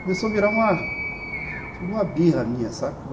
Começou a virar uma uma birra minha, sabe?